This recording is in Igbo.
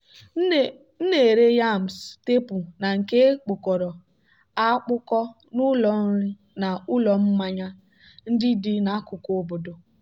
m na-ere yams teepụ na nke e kpụkọrọ akpụkọ n'ụlọ nri na ụlọ mmanya ndị dị n'akụkụ obodo.